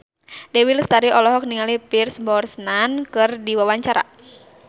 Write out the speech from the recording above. Dewi Lestari olohok ningali Pierce Brosnan keur diwawancara